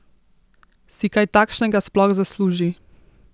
Si kaj takšnega sploh zasluži?